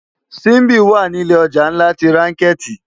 Simbi wá ni ilé òjá nlá ti rànkèti